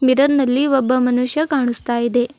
Mirror ನಲ್ಲಿ ಒಬ್ಬ ಮನುಷ್ಯ ಕಾಣಸ್ತಾ ಇದೆ.